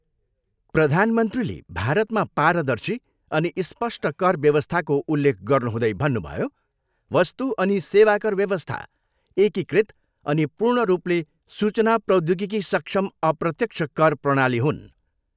प्रधानमन्त्रीले भारतमा पारदर्शी अनि स्पष्ट कर व्यवस्थाको उल्लेख गर्नुहुँदै भन्नुभयो, वस्तु अनि सेवाकर व्यवस्था एकीकृत अनि पूर्ण रूपले सूचना प्रौध्योगिकी सक्षम अप्रत्यक्ष कर प्रणाली हुन्।